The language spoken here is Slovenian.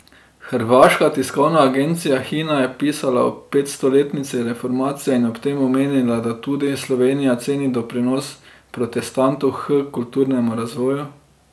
Hrvaška tiskovna agencija Hina je pisala o petstoletnici reformacije in ob tem omenila, da tudi Slovenija ceni doprinos protestantov h kulturnemu razvoju.